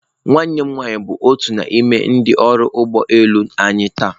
Nwanne m nwanyị bụ otu n'ime ndị ọrụ ụgbọ elu anyị taa.